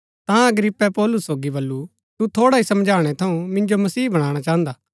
ता अग्रिप्पे पौलुस सोगी बल्लू तु थोड़ा ही समझाणै थऊँ मिन्जो मसीह बणाणा चाहन्दा